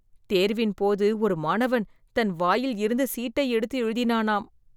தேர்வின்போது, ஒரு மாணவன், தன் வாயில் இருந்து சீட்டை எடுத்து எழுதினானாம்